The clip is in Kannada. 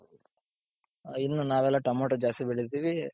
ಇನ್ನು ನಾವೆಲ್ಲಾ ಟೊಮೋಟು ಜಾಸ್ತಿ ಬೆಳಿತೀವಿ,